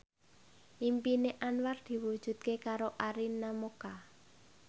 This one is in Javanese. impine Anwar diwujudke karo Arina Mocca